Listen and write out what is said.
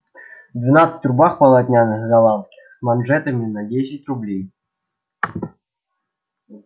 двенадцать рубах полотняных голландских с манжетами на десять рублей